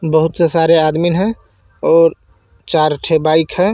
बहुत सारे आदमी है और चार ठे बाइक है.